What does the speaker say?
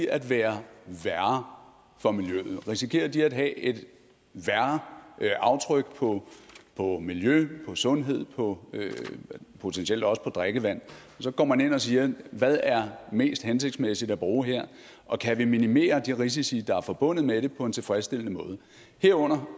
at være værre for miljøet risikerer de at have et værre aftryk på på miljø på sundhed og potentielt også på drikkevand og så går man ind og siger hvad er mest hensigtsmæssigt at bruge her og kan vi minimere de risici der er forbundet med det på en tilfredsstillende måde herunder